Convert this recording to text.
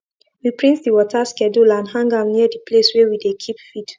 we print the water schedule and hang am near the place wey we dey keep feed